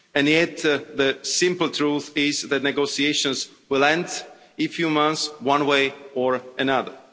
made. Yet the simple truth is that the negotiations will in a few months one way or another.